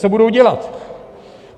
Co budou dělat?